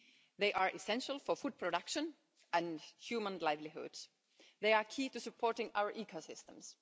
They are essential for food production and human livelihoods. They are key to supporting our ecosystems.